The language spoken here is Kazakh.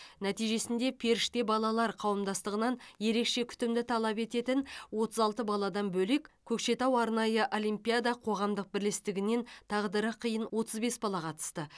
нәтижесінде періште балалар қауымдастығынан ерекше күтімді талап ететін отыз алты баладан бөлек көкшетау арнайы олимпиада қоғамдық бірлестіктігінен тағдыры қиын отыз бес бала қатысты